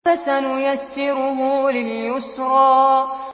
فَسَنُيَسِّرُهُ لِلْيُسْرَىٰ